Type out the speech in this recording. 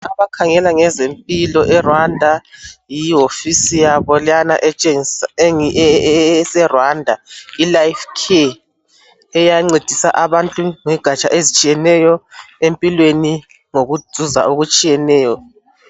Okhangela ngezempilo eRwanda yiwofisi yabo leyana etshengisa eseRwanda ilife Care encedisa abantu ngengatsha ezitshiyeneyo empilweni ngokuzuza okutshiyeneyo.